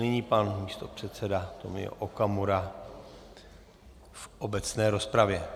Nyní pan místopředseda Tomio Okamura v obecné rozpravě.